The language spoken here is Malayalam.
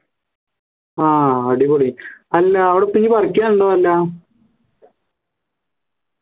ആഹ് അടിപൊളി അല്ല അവിടെ ഇപ്പോ ഇനി